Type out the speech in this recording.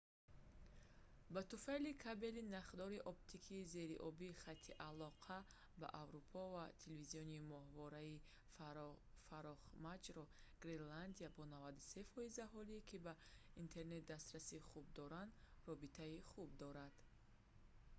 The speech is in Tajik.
ба туфайли кабелии нахдори оптикии зериобии хати алоқа ба аврупо ва телевизиони моҳвораии фарохмаҷро гренландия бо 93% аҳолӣ ки ба интернет дастрасии хуб доранд робитаи хуб дорад